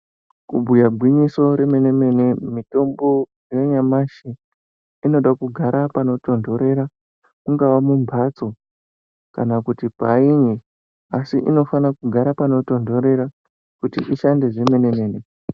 Ku bhuya gwinyiso re mene mene mitombo ya nyamashi inoda kugara pano tondorera mungava mu mbatso kana kuti painyi asi inofana kugara pano tondorera kuti ishande zvemene mene.